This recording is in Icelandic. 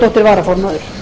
varaformaður ásmundur einar